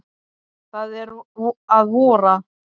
Það er að vora!